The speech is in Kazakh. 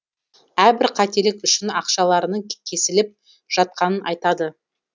әрбір қателік үшін ақшаларының кесіліп жатқанын айтады